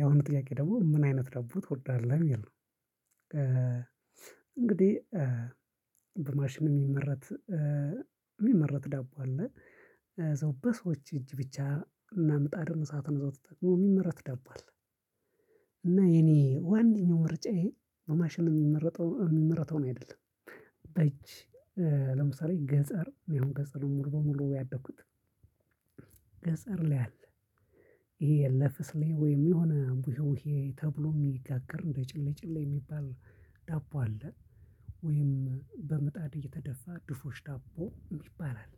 ያሁኑ ጥያቄ ደግሞ ምን አይነት ዳቦ ትወዳለሁ የሚል ነው? እንግዲህ በማሽን የሚመረት የሚመረት ዳቦ አለ። እዛው በሰዎች እጅ ብቻ እናምጣድም እሳትን እዛው ተጠቅሞ የሚመረት ዳቦ አለ። እና የኔ ዋነኛው ምርጫዬ በማሽን የሚመረተውን አይደለም በእጅ ለምሳሌ ገጠር እኔ አሁን ገጠር ነው ሙሉ በሙሉ ያደኩት። ገጠር ላይ አለ ይሄ ለፍስሌ ወይም የሆነ ውሄ ተብሎ የሚጋገር እንደ ጭሌጭሌ የሚባል ዳቦ አለ። ወይም በምጣድ እየተደፋ ድፎሽ ዳቦ የሚባል አለ።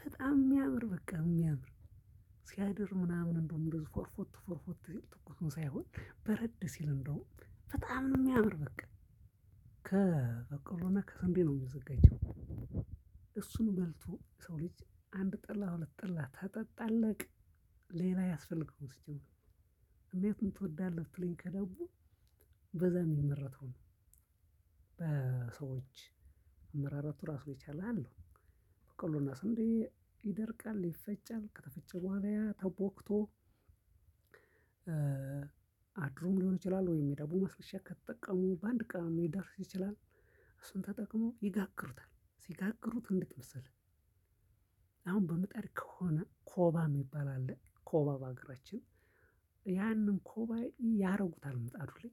በጣም የሚያምር በቃ የሚያምር ሲያድር ምናምን እንደው ፎርፎቱ ፎርፎቱ ሲል ትኩሱን ሳይሆን በረድ ሲል እንደውም በጣም ነው የሚያምር በቃ። ከበቀሎና ከስንዴ ነው የሚዘጋጀው እሱን በልቶ የሰው ልጅ አንድ ጠላ ሁለት ጠላ ትጠጣለህ ሌላ አያስፈልገውም። ሲጀመር የቱን ትወዳለህ ብትለኝ ከዳቦ በዛ የሚመረተውን ነው። በሰዎች አመራረቱ ራሱ ይቻላል። በቀሎና ስንዴ ይደርቃል ይፈጫል ከተፈጨ በኋላ ያተቦክቶ። አድሮም ሊሆን ይችላል ወይም የዳቦ ማስነሻ ከተጠቀሙ በአንድ ቀንም ሊደርስ ይችላል። እሱን ተጠቅሞ ይጋግሩታል ሲጋግሩት እንዴት መሰለህ? አሁን በምጣድ ከሆነ ኮባ የሚባል አለ ኮባ በአገራችን ያንን ኮባ ያደርጉታል ምጣዱ ላይ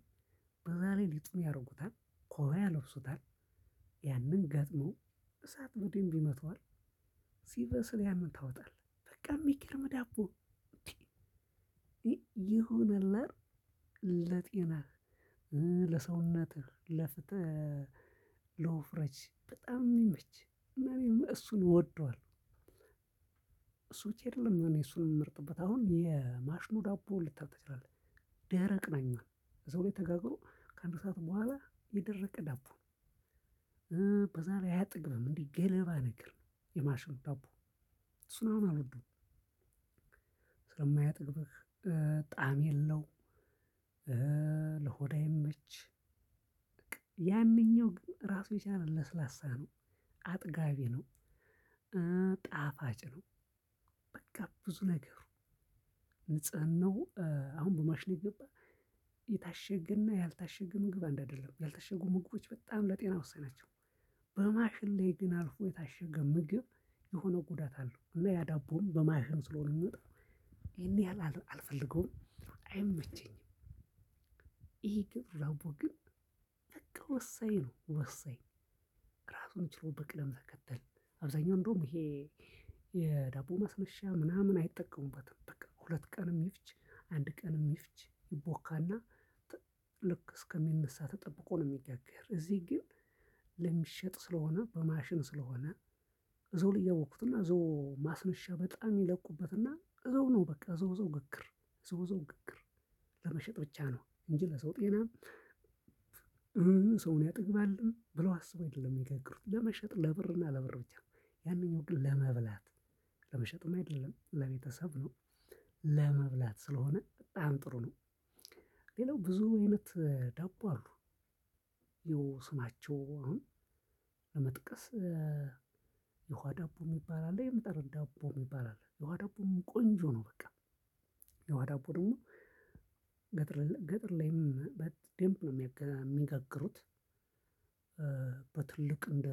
በዛ ላይ ሊጡን ያደርጉታል ኮባ ያለብሱታል። ገጥሞ እሳት በደንብ ይመተዋል። ሲበስል ያንን ታወጣለህ በቃ የሚገርም ዳቦ። የሆነ አለ አይደል? ለጤናህ ለሰውነትህ ለፊትህ ለወፍረት በጣም የሚመች እና እኔም እሱን እወደዋለሁ። እሱ ብቻ አይለም እኔ እሱን የምመርጥበት አሁን የማሽኑ ዳቦ ልታቅ ትችላለህ? ደረቅ ነው የሚሆን እዛው ላይ ተጋግሮ ከአንድ ሰዓት በኋላ የደረቀ ዳቦ ነው። በዛ ላይ አያጠግብም እንዴ ገለባ ነገር ነው የማሽን ዳቦ። እሱ አሁን አልወድም። ስለማያጠግብህ ጣዕም የለው። ለሆድ አይመች። በቃ ያንኛው ግን ራሱን የቻለ ለስላሳ ነው። አጥጋቢ ነው። ጣፋጭ ነው። በቃ ብዙ ነገሩ ንጽህናው አሁን በማሽን የገባ የታሸገና ያልታሸገ ምግብ አንድ አይደለም ያልታሸጉ ምግቦች በጣም ለጤና ወሳኝ ናቸው። በማሽን ላይ ግን አልፎ የታሸገ ምግብ የሆነ ጉዳት አለው። እና ያዳቦም በማሽን ስለሆነ የሚወጣው ይሄን ያህል አልፈልገውም አይመቸኝም። ይሄ ግን ዳቦ ግን በቃ ወሳኝ ነው ወሳኝ። ራሱን ችሎ በቅደም ተከተል አብዛኛው እንደውም ይሄ የዳቦ ማስነሻ ምናምን አይጠቀሙበትም በቃ ሁለት ቀንም ይፍጅ። አንድ ቀንም ይፍጅ ይቦካና ልክ እስከሚነሳ ተጠብቆ ነው የሚጋግር እዚህ ግን ለሚሸጥ ስለሆነ በማሽን ስለሆነ። እዛውላይ ያቦኩትና እና እዛው ማስነሻ በጣም ይለቁበት እና እዛው ነው በቃ እዛው እዛው ግግር እዛው እዛው ግግር። ለመሸጥ ብቻ ነው እንጂ ለሰው ጤና። ሰውን ያጠግባል ብለው አስበው አይደለም የሚጋግሩት ለመሸጥ ለብር እና ለብር ብቻ ነው። ያንኛው ግን ለመብላት ለመሸጥም አይደለም ለቤተሰብ ነው። ለመብላት ስለሆነ በጣም ጥሩ ነው። ሌላው ብዙ አይነት ዳቦ አሉ። ይሄው ስማቸው አሁን ለመጥቀስ የውሃ ዳቦ የሚባል አለ የምጣድ ዳቦ የሚባል አለ የውሃ ዳቦ ቆንጆ ነው በቃ። የውሃ ዳቦ ደግሞ ገጠር ገጠር ላይም በደምብ ነው የሚጋግሩት። በትልቅ እንደ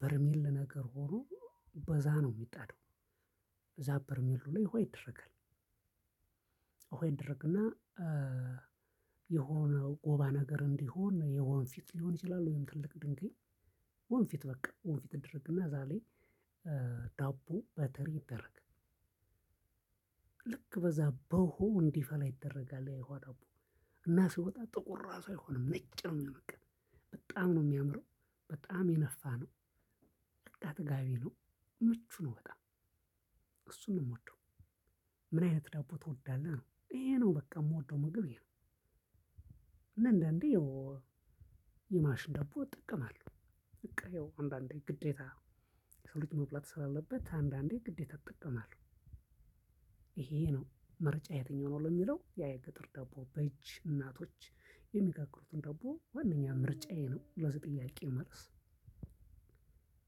በርሚል ነገር ሆኖ በዛ ነው የሚጣደው። ከዛ በርሚል ላይ ውሃ ይደረጋል። ውሃ ይደረግና የሆነው ጎባ ነገር እንዲሆን የወንፊት ሊሆን ይችላል ወይም ትልቅ ድንጋይ። ወንፊት በቃ ወንፊት ይደረግና እዛ ላይ ዳቦ በትሪ ይደረግ። ልክ በዛ በዉሃው እንዲፈላ ይደረጋል የውሃ ዳቦ። እና ሲወጣ ጥቁር ራሱ አይሆንም ነጭ ነው የሚሆን በቃ። በጣም ነው የሚያምረው። በጣም የነፋ ነው። በቃ አጥጋቢ ነው። ምቹ ነው በጣም እሱን ነው የምወደው። ምን አይነት ዳቦ ትወዳለህ? ይሄ ነው በቃ የምወደው ምግብ ይሄ ነው። እና እንዳአንዴ የማሽን ደቦ እጠቀማለሁ። በቃ ይኸው አንዳንዴ ግዴታ የሰው ልጅ መብላት ስላለበት አንዳንዴ ግዴታ እጠቀመለሁ። ይሄ ነው ምርጫህ የትኛው ነው? ለሚለው ያ የገጠር ደቦ በእጅ እናቶች የሚጋግሩትን ዳቦ ዋናኛ ምርጫዬ ነው። ለዚህ ጥያቄ መልስ